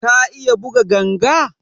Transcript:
Ka iya buga ganga?